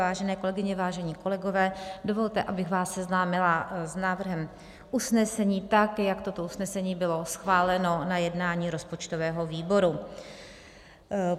Vážené kolegyně, vážení kolegové, dovolte, abych vás seznámila s návrhem usnesení, tak jak toto usnesení bylo schváleno na jednání rozpočtového výboru.